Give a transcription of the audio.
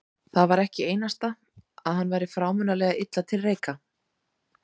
Það var ekki einasta að hann væri frámunalega illa til reika.